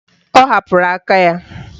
Ọ hapụrụ aka ya.